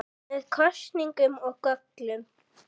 Með kostum og göllum.